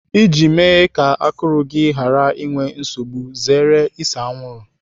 Iji mee ka akụrụ gị ghara inwe nsogbu, zere ise anwụrụ.